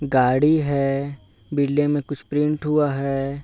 गाड़ी है बिल्डिंग में कुछ पेंट हुआ है।